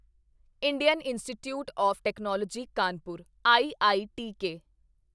Indian Institute of Technology Kanpur IITK